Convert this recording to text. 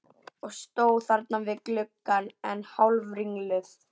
Og stóð þarna við gluggann enn hálfringluð.